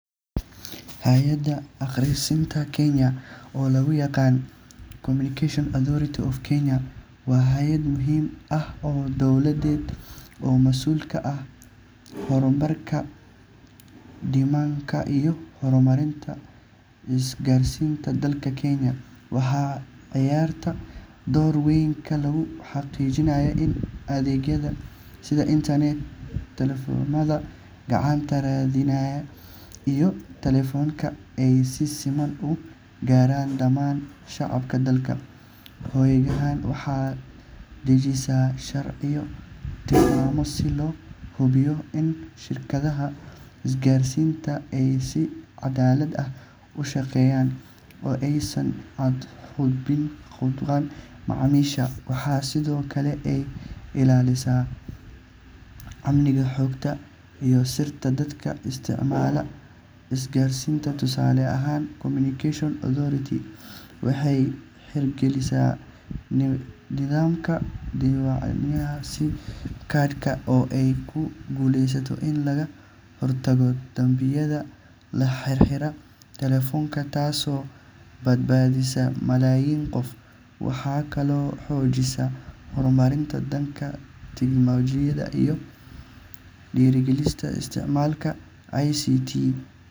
Hay’adda Isgaarsiinta Kenya, oo loo yaqaan Communication Authority of Kenya, waa hay’ad muhiim ah oo dawladeed oo mas’uul ka ah kormeerka, nidaaminta, iyo horumarinta isgaarsiinta dalka Kenya. Waxay ciyaartaa door weyn oo lagu xaqiijinayo in adeegyada sida internet, taleefannada gacanta, raadiyaha, iyo telefishanka ay si siman u gaaraan dhammaan shacabka dalka. Hay’addan waxay dejisaa sharciyo iyo tilmaamo si loo hubiyo in shirkadaha isgaarsiinta ay si cadaalad ah u shaqeeyaan oo aysan xadgudbin xuquuqda macaamiisha. Waxaa sidoo kale ay ilaalisaa amniga xogta iyo sirta dadka isticmaala isgaarsiinta. Tusaale ahaan, Communication Authority waxay hirgelisay nidaamka diiwaangelinta sim-ka oo ay ku guuleysatay in laga hortago dambiyada la xiriira telefoonada, taasoo badbaadisay malaayiin qof. Waxay kaloo xoojisaa horumarka dhanka tignoolajiyada iyada oo dhiirrigelisa isticmaalka ICT.